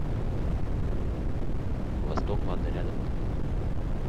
восток лада рядом